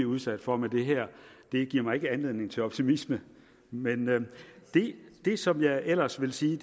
udsat for med det her ikke giver mig anledning til optimisme men det som jeg ellers vil sige